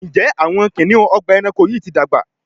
Njé Awọn kiniun Ọgbà ẹranko yi ti dàgbà?